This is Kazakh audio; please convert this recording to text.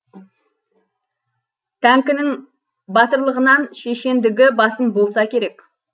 тәңкінің батырлығынан шешендігі басым болса керек